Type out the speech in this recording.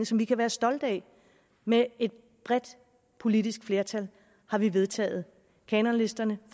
som vi kan være stolte af med et bredt politisk flertal har vi vedtaget kanonlisterne